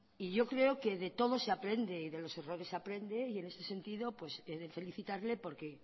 y yo creo que de todo se aprende y de los errores se aprende y en ese sentido pues he de felicitarle porque